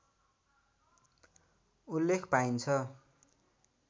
उल्लेख पाइन्छ